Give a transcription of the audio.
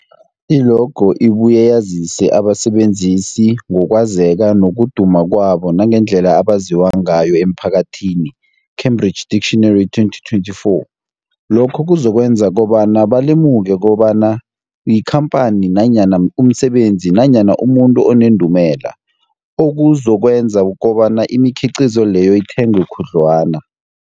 I-logo ibuye yazise abasebenzisi ngokwazeka nokuduma kwabo nangendlela abaziwa ngayo emphakathini, Cambridge Dictionary 2024. Lokho kuzokwenza kobana balemuke kobana yikhamphani nanyana umsebenzi nanyana umuntu onendumela, okuzokwenza kobana imikhiqhizo leyo ithengwe khudlwana.